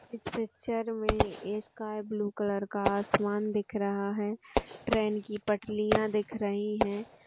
इस पिक्चर में एक स्काइ ब्लू कलर का आसमान दिख रहा है। ट्रैन की पटलिया दिख रहीं हैं।